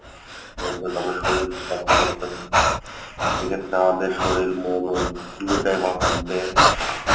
শরীর সেক্ষেত্রে আমাদের শরীর মন দুটাই থাকবে।